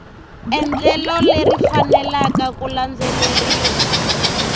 endlelo leri faneleke ku landzeleriwa